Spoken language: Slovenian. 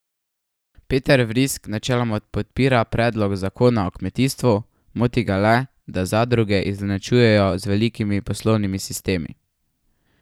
Peter Vrisk načeloma podpira predlog zakona o kmetijstvu, moti ga le, da zadruge izenačuje z velikimi poslovnimi sistemi.